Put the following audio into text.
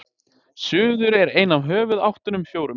suður er ein af höfuðáttunum fjórum